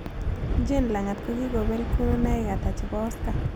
Jane langat kokikobel kununoik ata chebo oscar